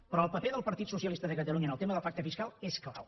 però el paper del partit socialista de catalunya en el tema del pacte fiscal és clau